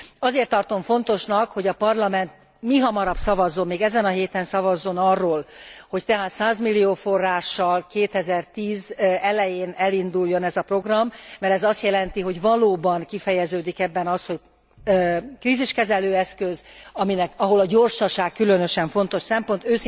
Azért tartom fontosnak, hogy a Parlament mihamarabb szavazzon, még ezen a héten szavazzon arról, hogy tehát 100 milliós forrással 2010 elején elinduljon ez a program, mert ez azt jelenti, hogy valóban kifejeződik ebben az, hogy kríziskezelő eszköz, ahol a gyorsaság különösen fontos szempont.